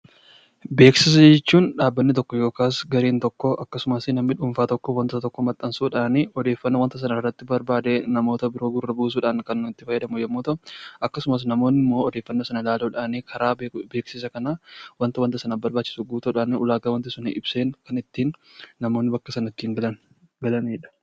Beeksisa jechuun dhaabbanni tokko yookaan gareen tokko akkasumas namni dhuunfaan tokko waanta tokko beeksisuudhaaf odeeffannoo barbaadee namoota gurra buusuudhaaf kan itti fayyadan yemmuu ta'u, akkasumas odeeffannoo kennuudhaan karaa beeksisa sanaa waanta barbaachisu guutuudhaan ulaagaa waanti sun ibseen kan ittiin namoonni ittiin baranidha.